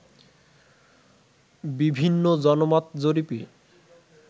বিভিন্ন জনমত জরিপে